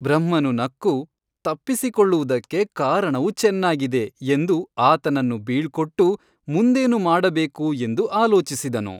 ಬ್ರಹ್ಮನು ನಕ್ಕು ತಪ್ಪಿಸಿಕೊಳ್ಳುವುದಕ್ಕೆ ಕಾರಣವು ಚೆನ್ನಾಗಿದೆ ಎಂದು ಆತನನ್ನು ಬೀಳ್ಕೊಟ್ಟು ಮುಂದೇನು ಮಾಡಬೇಕು ಎಂದು ಆಲೋಚಿಸಿದನು.